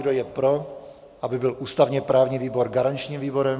Kdo je pro, aby byl ústavně-právní výbor garančním výborem?